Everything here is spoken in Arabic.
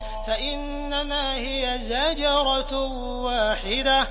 فَإِنَّمَا هِيَ زَجْرَةٌ وَاحِدَةٌ